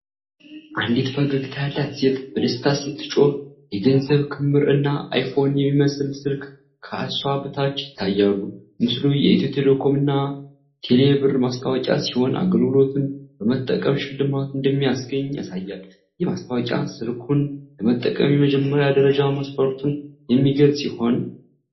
አንዲት ፈገግታ ያላት ሴት በደስታ ስትጮህ፣ የገንዘብ ክምር እና አይፎን የሚመስል ስልክ ከእሷ በታች ይታያሉ። ምስሉ የኢትዮ ቴሌኮም እና ቴሌብር ማስታወቂያ ሲሆን፣ አገልግሎቱን በመጠቀም ሽልማት እንደሚያስገኝ ያሳያል። ይህ ማስታወቂያ ስልኩን ለመጠቀም የመጀመሪያ ደረጃ መስፈርቱን የሚገልጽ ይሆን?